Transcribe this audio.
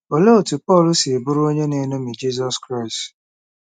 Olee otú Pọl si bụrụ onye na-eṅomi Jizọs Kraịst?